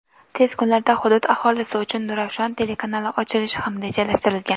tez kunlarda hudud aholisi uchun "Nurafshon" telekanali ochilishi ham rejalashtirilgan.